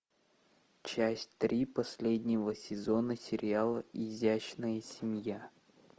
часть три последнего сезона сериала изящная семья